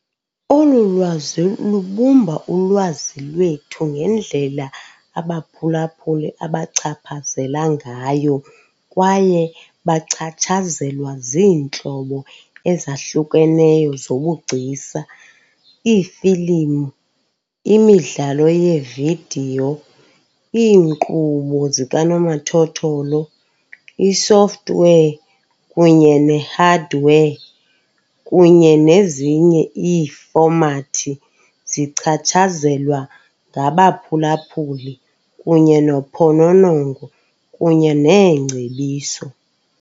Olu lwazi lubumba ulwazi lwethu ngendlela abaphulaphuli abachaphazela ngayo kwaye bachatshazelwa ziintlobo ezahlukeneyo zobugcisa. Iifilimu, imidlalo yevidiyo, iinkqubo zikanomathotholo, isoftware, kunye nehardware, kunye nezinye iifomati zichatshazelwa ngabaphulaphuli kunye nophononongo kunye neengcebiso.